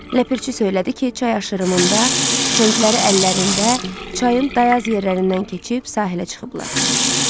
Ləpirçi söylədi ki, çay aşırımında tüfəngləri əllərində çayın dayaz yerlərindən keçib sahilə çıxıblar.